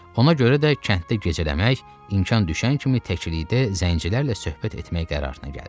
Ona görə də kənddə gecələmək, imkan düşən kimi təklikdə zəncilərlə söhbət etmək qərarına gəldi.